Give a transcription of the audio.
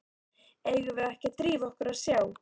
Eigum við ekki að drífa okkur og sjá.